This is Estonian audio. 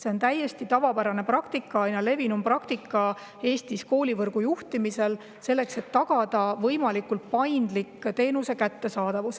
See on täiesti tavapärane praktika, aina levinum praktika Eestis koolivõrgu juhtimisel, selleks et tagada võimalikult paindlik teenuse kättesaadavus.